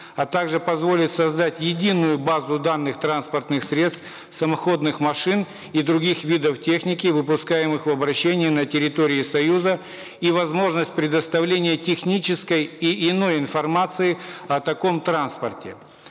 а также позволит создать единую базу данных транспортных средств самоходных машин и других видов техники выпускаемых в обращение на территории союза и возможность предоставления технической и иной информации о таком транспорте